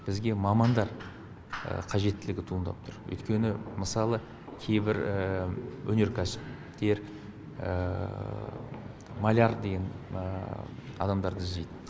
бізге мамандар қажеттілігі туындап тұр өйткені мысалы кейбір өнеркәсіптер маляр деген адамдарды іздейді